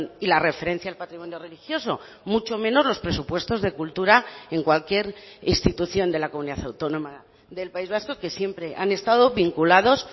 y la referencia al patrimonio religioso mucho menos los presupuestos de cultura en cualquier institución de la comunidad autónoma del país vasco que siempre han estado vinculados